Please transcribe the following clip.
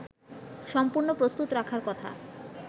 সম্পূর্ণ প্রস্তুত রাখার কথা